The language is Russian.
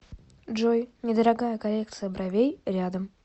джой недорогая коррекция бровей рядом